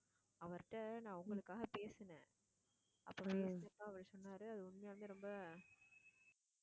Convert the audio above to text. அவர்ட்ட நான் உங்களுக்காக பேசினேன். அப்புறம் அவர் சொன்னாரு அது உண்மையாலுமே ரொம்ப